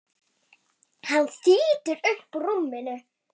Hann þýtur upp úr rúminu.